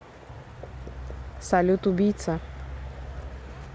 салют убийца